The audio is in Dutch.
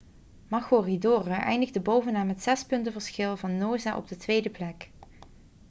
maroochydore eindigde bovenaan met zes punten verschil van noosa op de tweede plek